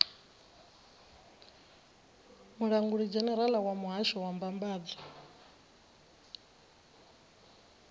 mulangulidzhenerala wa muhasho wa mbambadzo